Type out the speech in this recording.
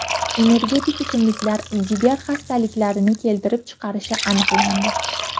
Energetik ichimliklar jigar xastaliklarini keltirib chiqarishi aniqlandi.